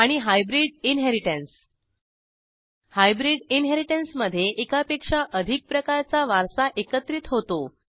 आणि hybrid inheritance hybrid इनहेरिटन्समधे एकापेक्षा अधिक प्रकारचा वारसा एकत्रित होतो